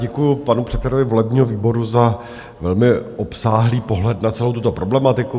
Děkuji panu předsedovi volebního výboru za velmi obsáhlý pohled na celou tuto problematiku.